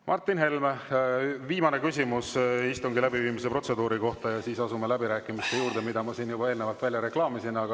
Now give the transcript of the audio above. Martin Helme, viimane küsimus istungi läbiviimise protseduuri kohta, ja siis asume läbirääkimiste juurde, mis ma siin juba välja reklaamisin.